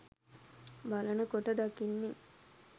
බලන කොට දකින්නේ